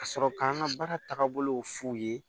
Ka sɔrɔ k'an ka baara tagabolo f'u ye